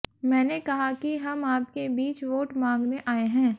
मैंने कहा कि हम आपके बीच वोट मांगने आए हैं